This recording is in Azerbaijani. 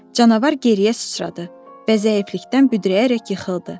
Canavar geriyə sıçradı və zəiflikdən büdrəyərək yıxıldı.